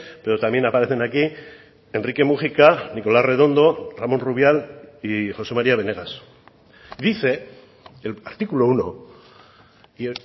pero también aparecen aquí enrique múgica nicolás redondo ramón rubial y josé maría benegas dice el artículo uno y